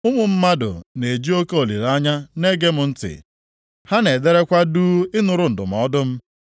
“Ụmụ mmadụ na-eji oke olileanya na-ege m ntị, ha na-ederekwa duu ịnụrụ ndụmọdụ m.